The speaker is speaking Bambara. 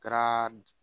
Kɛra